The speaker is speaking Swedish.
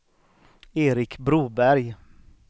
Erik Broberg